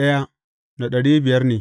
Yawan mutanen sashensa ne.